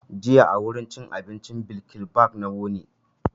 Jiya a wurin cin abincin bilkibab na wuni.